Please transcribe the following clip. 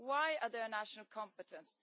Why are they a national competence?